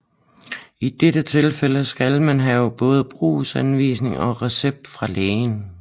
I dette tilfælde skal man have både brugsanvisning og recept fra lægen